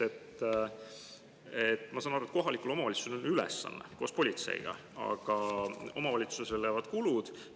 Ja teiseks, ma saan aru, et kohalikul omavalitsusel on ülesanne koos politseiga, aga omavalitsusele jäävad kulud.